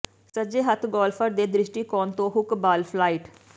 ਸੱਜੇ ਹੱਥ ਗੌਲਫਰ ਦੇ ਦ੍ਰਿਸ਼ਟੀਕੋਣ ਤੋਂ ਹੁੱਕ ਬਾਲ ਫਲਾਈਟ